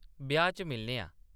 ब्याह्‌‌ च मिलने आं !